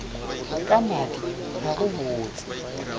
ka madi ga go botse